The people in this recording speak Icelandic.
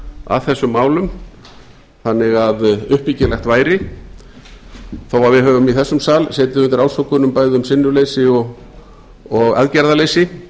að þessum málum þannig að uppbyggilegt væri þó við höfum í þessum sal setið undir ásökunum bæði um sinnuleysi og aðgerðaleysi